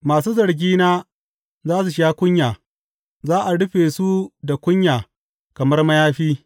Masu zargina za su sha kunya za a rufe su da kunya kamar mayafi.